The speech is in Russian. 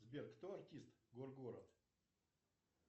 сбер кто артист гор город